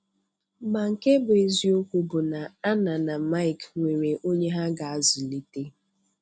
Ma nke bụ́ eziokwu bụ na Anna na Mike nwere onye ha ga-azụlite.